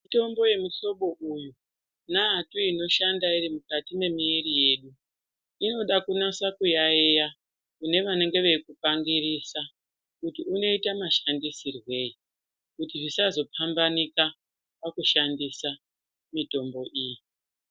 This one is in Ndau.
Mitombo yemuhlobo uyu neatu inoshanda iri mukati mwemuwiri yedu inoda kunasa kuyayeya kune vanenge veyizvipangirisa kuti unoita mashandisirwe eyi kuti zvisazopambanika pakushandisa mitombo iyi.